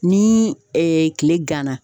Ni kile ganna.